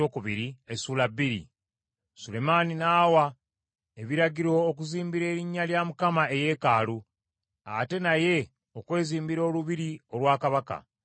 Sulemaani n’awa ebiragiro okuzimbira erinnya lya Mukama eyeekaalu, ate naye okwezimbira olubiri olwa kabaka.